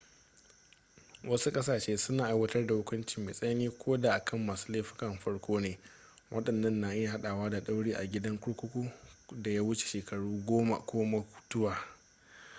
wasu ƙasashe suna aiwatar da hukunci mai tsanani ko da a kan masu laifukan farko ne waɗannan na iya haɗawa da ɗauri a gidan kurkuku da ya wuce shekaru 10 ko mutuwa